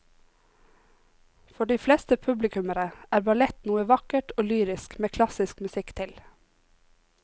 For de fleste publikummere er ballett noe vakkert og lyrisk med klassisk musikk til.